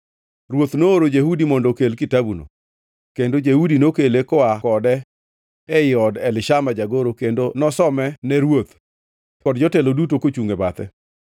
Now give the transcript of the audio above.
Ruoth nooro Jehudi mondo okel kitabuno, kendo Jehudi nokele koa kode ei od Elishama jagoro kendo nosomene ruoth kod jotelo duto kochungʼ e bathe.